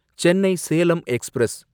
Chennai Salem express